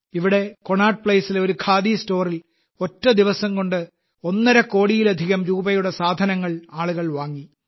ഇവിടെ കൊണാട്ട് പ്ലേസിലെ ഒരു ഖാദി സ്റ്റോറിൽ ഒറ്റ ദിവസംകൊണ്ട് ഒന്നര കോടിയിലധികം രൂപയുടെ സാധനങ്ങൾ ആളുകൾ വാങ്ങി